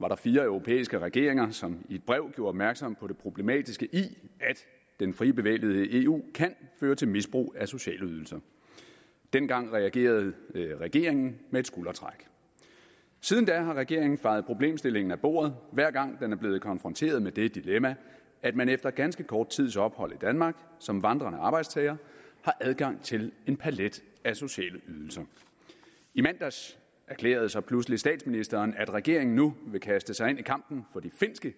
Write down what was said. var der fire europæiske regeringer som i et brev gjorde opmærksom på det problematiske i at den frie bevægelighed i eu kan føre til misbrug af sociale ydelser dengang reagerede regeringen med et skuldertræk siden da har regeringen fejet problemstillingen af bordet hver gang den er blevet konfronteret med det dilemma at man efter ganske kort tids ophold i danmark som vandrende arbejdstager har adgang til en palet af sociale ydelser i mandags erklærede så pludselig statsministeren at regeringen nu vil kaste sig ind i kampen for de finske